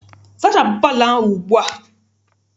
Zachapụ palọ ahụ ugbua!